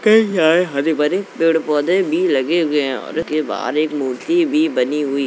यहाँ हरे भरे पेड़ पौधे भी लगे हुए हैं और उसके बाहर एक मूर्ति भी बनी हुई --